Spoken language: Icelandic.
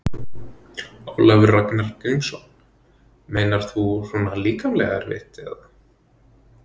Ólafur Ragnar Grímsson: Meinar þú svona líkamlega erfitt eða?